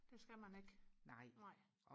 det skal man ikke nej